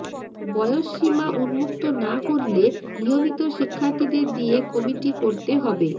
বয়সসীমা উন্মুক্ত না করলে নিয়মিত শিক্ষার্থীদের দিয়ে কমিটি করতে হবে